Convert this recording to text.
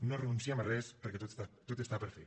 no renunciem a res perquè tot està per fer